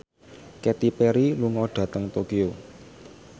Katy Perry lunga dhateng Tokyo